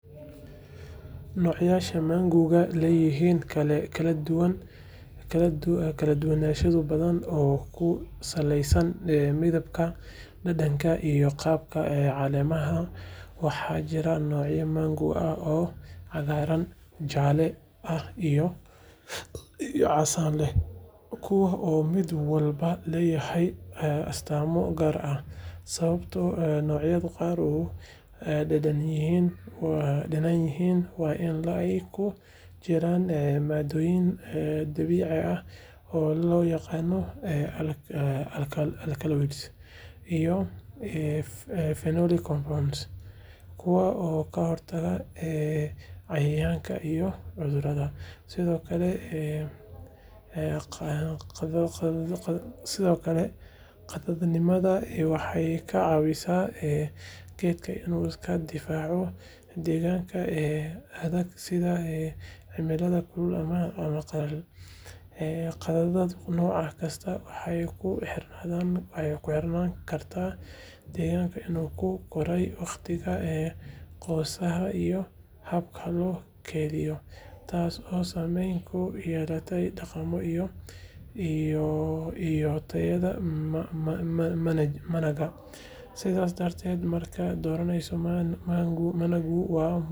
Noocyada managuwaxay leeyihiin kala duwanaansho badan oo ku saleysan midabka, dhadhanka, iyo qaabka caleemaha. Waxaa jira noocyo managu ah oo cagaaran, jaalle ah iyo casaan leh, kuwaas oo mid waliba leeyahay astaamo gaar ah. Sababta noocyada qaar u qadhaadh yihiin waa in ay ku jiraan maaddooyin dabiici ah oo loo yaqaan ‘alkaloids’ iyo ‘phenolic compounds’ kuwaas oo ka hortaga cayayaanka iyo cudurrada. Sidoo kale, qadhaadhnimada waxay ka caawisaa geedka inuu iska difaaco deegaanka adag sida cimilada kulul ama qallalan. Qadhaadhnimada nooc kasta waxay ku xirnaan kartaa deegaanka uu ku koray, waqtiga goosashada iyo habka loo keydiyo, taasoo saameyn ku yeelanaysa dhadhanka iyo tayada managa. Sidaas darteed, markaad dooranayso managu, waa muhiim inaad tixgeliso nooca iyo meesha uu ka yimid si aad u hesho dhadhan macaan oo ku habboon baahidaada.